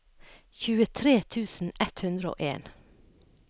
tjuetre tusen ett hundre og en